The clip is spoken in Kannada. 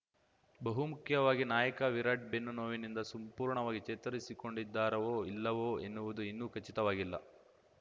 ಬಹುಮುಖ್ಯವಾಗಿ ನಾಯಕ ವಿರಾಟ್‌ ಬೆನ್ನು ನೋವಿನಿಂದ ಸಂಪೂರ್ಣವಾಗಿ ಚೇತರಿಸಿಕೊಂಡಿದ್ದಾರೋ ಇಲ್ಲವೋ ಎನ್ನುವುದು ಇನ್ನೂ ಖಚಿತವಾಗಿಲ್ಲ